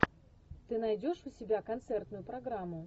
ты найдешь у себя концертную программу